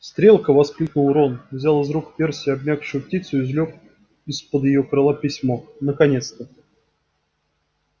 стрелка воскликнул рон взял из рук перси обмякшую птицу и извлёк из-под её крыла письмо наконец-то